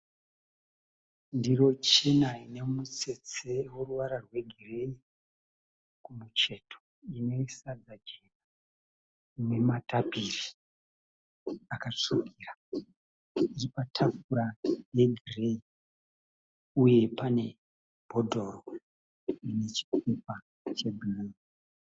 Ndiro chena ine mutsetse we ruvara rwe gireyi kumucheto. Ine sadza chena, ine matapiri akatsvukira iri patafura ye gireyi. Uye pane bhodhoro rine chipepa che bhuruu .